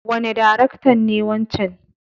Wane daraktan ne wancen?